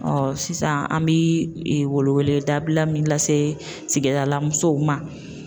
Ɔ sisan an bɛ weleweleda bila min lase sigida la musow ma